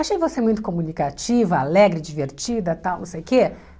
Achei você muito comunicativa, alegre, divertida, tal, não sei o quê.